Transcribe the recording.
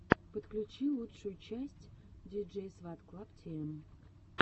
подключи лучшую часть диджейсватклабтиэм